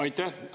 Aitäh!